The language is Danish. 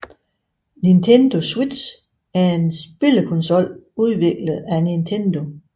Nintendo Switch er en spillekonsol udviklet af Nintendo